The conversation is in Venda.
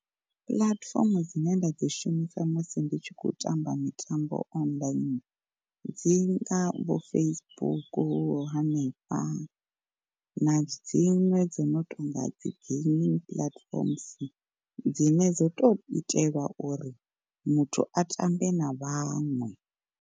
Puḽatifomo dzine nda dzi shumisa musi ndi tshi khou tamba mitambo online dzi nga vho Facebook, hanefha na dziṅwe dzo no tonga dzi gaming platforms dzine dzo tou itelwa uri muthu a ṱambe na vhaṅwe.